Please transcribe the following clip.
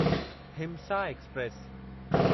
हिमसा express